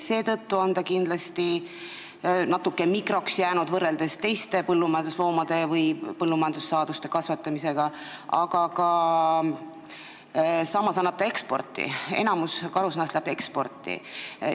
Seetõttu ongi ta kindlasti natuke mikroks jäänud võrreldes teiste põllumajandusloomade või ka põllumajandussaaduste kasvatamisega, aga samas annab ta eksporttoodangut, enamik karusnahkadest läheb eksporti.